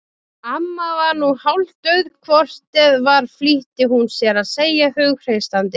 Amma var nú hálfdauð hvort eð var flýtti hún sér að segja hughreystandi.